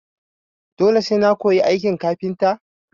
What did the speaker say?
Dole sai na koyi aikin kafintan?